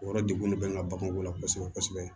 O yɔrɔ degun de bɛ n ka baganko la kosɛbɛ kosɛbɛ